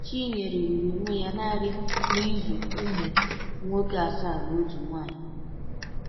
Chinyere hụrụ onwe ya naanị n’ịzụ ụmụ nwoke asaa na otu nwaanyị.